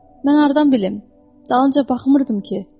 Mən hardan bilim, dalınca baxmırdım ki?